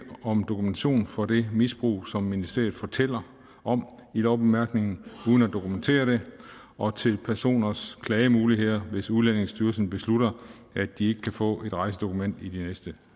om dokumentation for det misbrug som ministeriet fortæller om i lovbemærkningerne uden at dokumentere det og til personers klagemuligheder hvis udlændingestyrelsens beslutter at de ikke kan få et rejsedokument i de næste